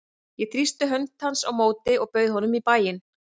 Ég þrýsti hönd hans á móti og bauð honum í bæinn.